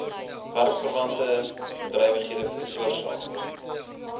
werksverwante bedrywighede veroorsaak